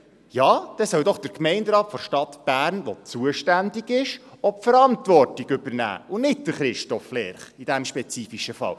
Dann soll doch der Gemeinderat der Stadt Bern, der zuständig ist, auch die Verantwortung übernehmen, und nicht Christoph Lerch in diesem spezifischen Fall.